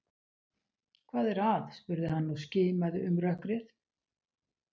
Hvað er að? spurði hann og skimaði um rökkrið.